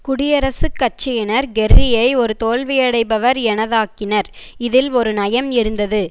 குடியரசுக் கட்சியனர் கெர்ரியை ஒரு தோல்வியடைபவர் எனத்தாக்கினர் இதில் ஒரு நயம் இருந்தது